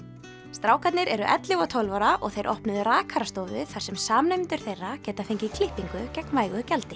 strákarnir eru ellefu og tólf ára og þeir opnuðu rakarastofu þar sem samnemendur þeirra geta fengið klippingu gegn vægu gjaldi